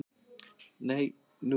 Nei, nú?